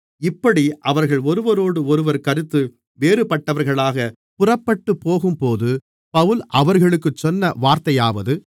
இப்படி அவர்கள் ஒருவரோடொருவர் கருத்து வேறுபட்டவர்களாக புறப்பட்டுப்போகும்போது பவுல் அவர்களுக்குச் சொன்ன வார்த்தையாவது